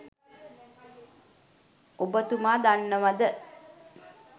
ඔබ තුමා දන්නවද